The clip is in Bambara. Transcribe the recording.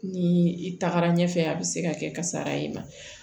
Ni i tagara ɲɛfɛ a bɛ se ka kɛ kasara ye